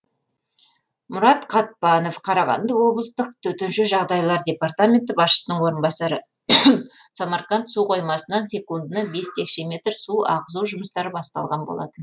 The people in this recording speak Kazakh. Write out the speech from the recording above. мұрат қатпанов қарағанды облыстық төтенше жағыдайлар департаменті басшысының орынбасары самарқанд су қоймасынан секундына бес текше метр су ағызу жұмыстары басталған болатын